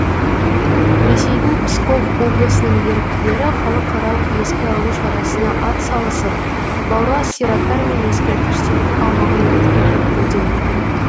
ресейдің псков облысының еріктілері халықаралық еске алу шарасына атсалысып бауырлас зираттар мен ескерткіштердің аумағын ретке келтіруде